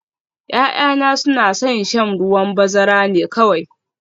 Ya'yana suna son shan ruwan bazara ne kawai